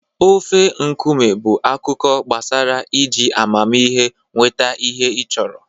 Ofe nkume bụ akụkọ gbasara iji amamihe nweta ihe ị chọrọ.